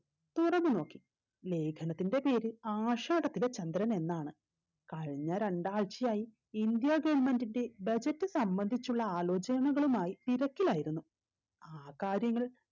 തുറന്ന് നോക്കി ലേഖനത്തിന്റെ പേര് ആഷാടത്തിലെ ചന്ദ്രൻ എന്നാണ് കഴിഞ്ഞ രണ്ടാഴ്ചയായി ഇന്ത്യ government ന്റെ budget സംബന്ധിച്ചുള്ള ആലോചനകളുമായ് തിരക്കിലായിരുന്നു ആ കാര്യങ്ങൾ